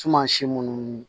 Tuma si munnu